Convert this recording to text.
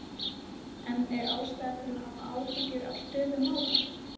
En er ástæða til að hafa áhyggjur af stöðu mála?